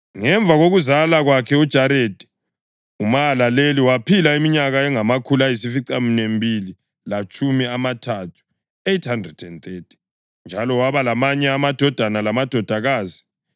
Ngemva kokuzala kwakhe uJaredi, uMahalaleli waphila iminyaka engamakhulu ayisificaminwembili lamatshumi amathathu (830) njalo waba lamanye amadodana lamadodakazi.